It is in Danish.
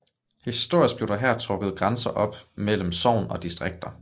Historisk blev der her trukket grænser op mellem sogn og distrikter